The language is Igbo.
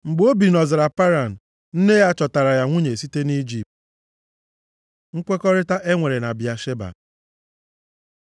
Mgbe o bi nʼọzara Paran, nne ya chọtaara ya nwunye site nʼIjipt. Nkwekọrịta e nwere na Bịasheba